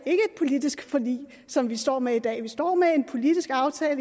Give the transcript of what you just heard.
politisk forlig som vi står med i dag vi står med en politisk aftale